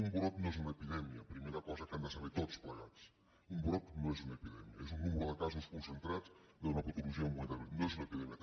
un brot no és una epidèmia primera cosa que han de saber tots plegats un brot no és una epidèmia és un nombre de casos concentrats d’una patologia en un moment determinat no és una epidèmia